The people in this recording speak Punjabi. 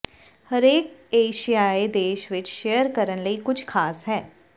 ਹਰੇਕ ਏਸ਼ੀਆਈ ਦੇਸ਼ ਵਿੱਚ ਸ਼ੇਅਰ ਕਰਨ ਲਈ ਕੁਝ ਖਾਸ ਹੈ